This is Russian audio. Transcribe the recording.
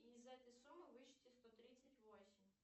и из этой суммы вычти сто тридцать восемь